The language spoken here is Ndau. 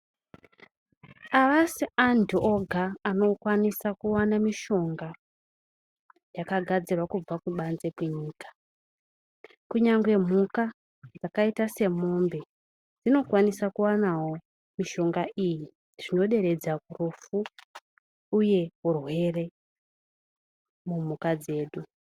Havasi andu oga anokwanisa kuona mishonga yakagadzirwe kubva kubanze kwenyika, kunyangwe mhuka dzakaita semombe dzinokwanisawo kuwana mishonga iyi zvinoderedza rufu uye urwere mumhuka dzedu